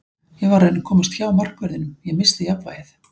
Ég var að reyna að komast framhjá markverðinum, ég missti jafnvægið.